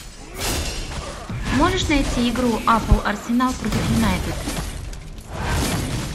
можешь найти игру апл арсенал против юнайтед